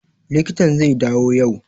Likitan zai dawo yau